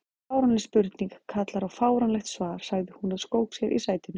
Fáránleg spurning kallar á fáránlegt svar sagði hún og skók sér í sætinu.